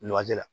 Nɔgɔji la